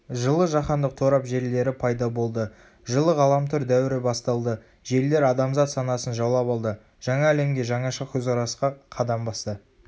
жылы жаһандық торап желілері пайда болды жылы ғаламтор дәуірі басталды желілер адамзат санасын жаулап алды жаңа әлемге жаңаша көзқарасқа қадам басты